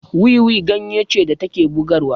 Wiwi ganye ce da take bugarwa